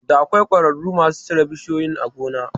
Da akwai ƙwararru masu cire bishiyoyin a gona